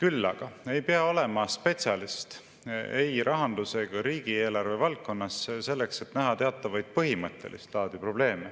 Küll aga ei pea olema spetsialist ei rahandus- ega riigieelarve valdkonnas selleks, et näha teatavaid põhimõttelist laadi probleeme,